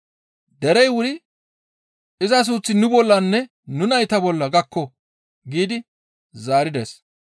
Derey wuri, «Iza suuththi nu bollanne nu nayta bolla gakko» giidi zaarides.